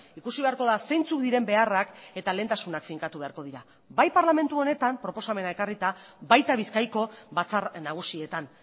ikusi beharko da zeintzuk diren beharrak eta lehentasunak finkatu beharko dira bai parlamentu honetan proposamena ekarrita baita bizkaiko batzar nagusietan